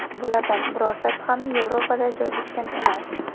Bulardan birortasi ham Yevropada joylashgan emas.